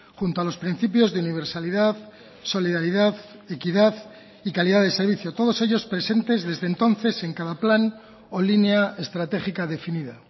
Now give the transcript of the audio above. junto a los principios de universalidad solidaridad equidad y calidad de servicio todos ellos presentes desde entonces en cada plan o línea estratégica definida